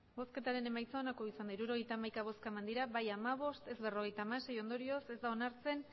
emandako botoak hirurogeita hamaika bai hamabost ez berrogeita hamasei ondorioz ez da onartzeko